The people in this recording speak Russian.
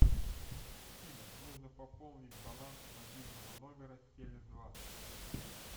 афина нужно пополнить баланс мобильного номера теле два